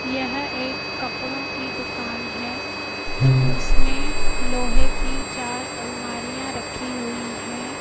यह एक कपड़ों की दुकान है। इसमें लोहे की चार अलमारियां रखी हुई है।